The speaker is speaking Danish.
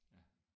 Ja